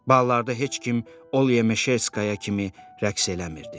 Ballarda heç kim Olya Meşerskaya kimi rəqs eləmirdi.